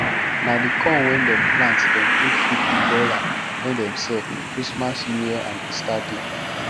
na the corn wen dem plant dem take feed the broiler wen dem sell christmas newyear and easter day